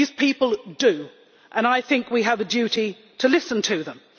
These people do, and I think we have a duty to listen to them.